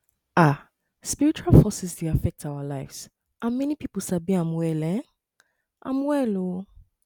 um spiritual forces dey affect our lives and many pipu sabi am well um am well oh